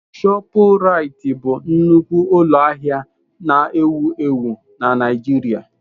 ShopuRitị bụ nnukwu ụlọ ahịa na-ewu ewu na Naịgiiria.